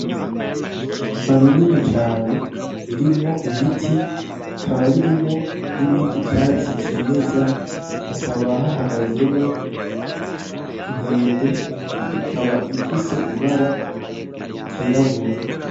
Ishamba rinini cane ririmwo ibiti rikaba ririmwo n'ibindi vyatsi vy'imeza hakaba hahagazemwo inkende ikaba ifise ibara ryirabura.